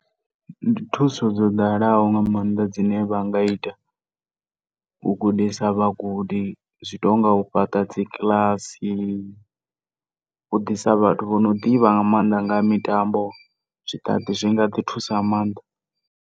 Ndi thuso dzo ḓalaho nga maanḓa dzine vha nga ita. U gudisa vhagudi zwitonga u fhaṱa dzi kiḽasi, u ḓisa vhathu vha no ḓivha nga maanḓa nga ha mitambo, zwi nga ḓi thusa nga maanḓa.